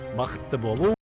бақытты болу